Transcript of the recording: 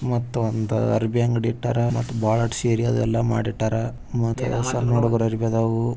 ಮತ್ತೊಮ್ಮೆ ಅರಬಿ ಅಂಗಡಿ ಬಾರ್ಡರ್ ಸೀರೆ ಎಲ್ಲಾ ಮಾಡಿ ಇಟ್ಟವರ ಮತ್ತೆ ಸಣ್ಣ ಹುಡುಗರಿಗೆ ಅರಬಿ ಆದವ್.